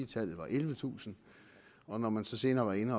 tallet var ellevetusind og når man så senere var inde